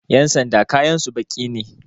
Ƴan sanda kayansu baƙi ne